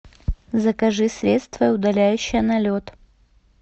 закажи средство удаляющее налет